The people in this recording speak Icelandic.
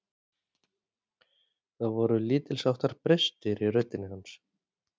Það voru lítilsháttar brestir í röddinni hans.